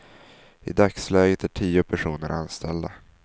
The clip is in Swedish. I dagsläget är tio personer anställda.